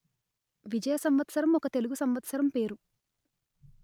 విజయ సంవత్సరం ఒక తెలుగు సంవత్సరం పేరు